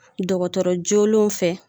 Dɔgɔtɔrɔ joonalenw fɛ